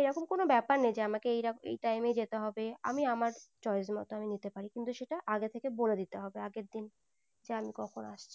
এরকম কোনো ব্যাপার নেই যে আমাকে এই time যেতে হবে আমি আমার choice মতো আমি নিতে পারি কিন্তু সেটা আগে থেকে বলে দিতে হবে আগের দিন যে আমি কখন আসছি।